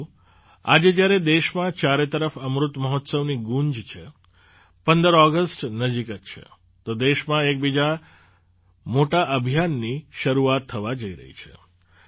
સાથીઓ આજે જ્યારે દેશમાં ચારે તરફ અમૃત મહોત્સવની ગૂંજ છે ૧૫ ઑગસ્ટ નજીક જ છે તો દેશમાં એક બીજા મોટા અભિયાનની શરૂઆત થવા જઈ રહી છે